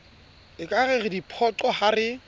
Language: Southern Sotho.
ekare re diphoqo ha re